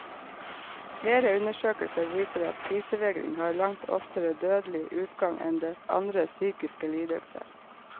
Flere undersøkelser viser at spisevegring har langt oftere dødelig utgang enn andre psykiske lidelser.